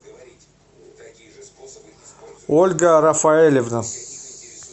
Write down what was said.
ольга рафаэлевна